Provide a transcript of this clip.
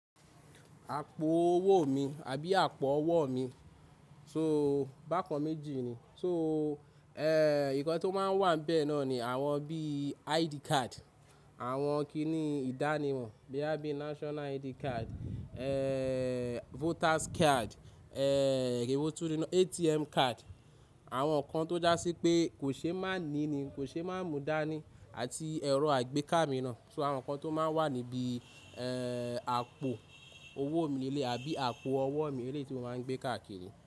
Àpò owó mi àbí àpò ọwọ́ mi, so bákan méjì ni, so ẹ̀, nǹkan tó máa ń wà bẹ́ẹ̀ náà ni àwọn bí i ID card, àwọn kiní ìdánimọ̀ bóyá bí national ID card, eh, voters card, eh ewo ti ni na, ATM card, àwọn nǹkan tó já sí pé kò ṣe má ní ni, kò ṣe má mú dání àti ẹ̀rọ àgbékámì náà. So àwọn nǹkan tó máa ń wà níbi eh, àpò owó mi lé leyi àbí àpò ọwọ́ mi eleyi tí ó máa ń gbé káàkiri.